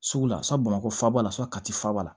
Sugu la sa bamakɔ faba la sa kati ba la